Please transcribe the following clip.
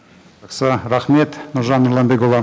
жақсы рахмет нұржан нұрланбекұлы